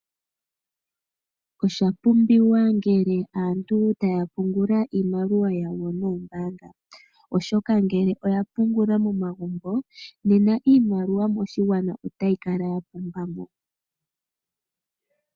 Oshapumbiwa ngele aantu taya pungula iimaliwa yawo moombanga oshoka ngele oya pungula momagumbo nena iimaliwa moshigwana otayi kala ya pumbamo.